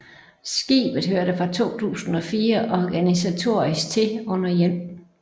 Skibet hørte fra 2004 organisatorisk til under 1